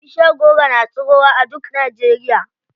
Bishiyar goro na tsirowa a duk Najeriya.